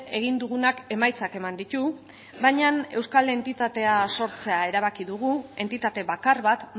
egin dugunak emaitzak eman ditu baina euskal entitatea sortzea erabaki dugu entitate bakar bat